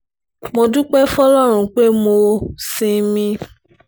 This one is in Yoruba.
mo dúpẹ́ fọlọ́run pé mo ṣì ń mí